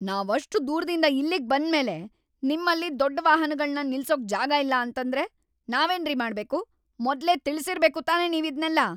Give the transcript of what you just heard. ನಾವಷ್ಟ್‌ ದೂರ್ದಿಂದ ಇಲ್ಲಿಗ್ ಬಂದ್ಮೇಲೆ ನಿಮ್ಮಲ್ಲಿ ದೊಡ್ಡ್‌ ವಾಹನಗಳ್ನ ನಿಲ್ಸೋಕ್ ಜಾಗ ಇಲ್ಲ ಅಂತಂದ್ರೆ ನಾವೇನ್ರಿ ಮಾಡ್ಬೇಕು? ಮೊದ್ಲೇ ತಿಳ್ಸಿರ್ಬೇಕು ತಾನೇ ನೀವಿದ್ನೆಲ್ಲ!